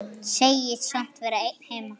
Segist samt vera einn heima.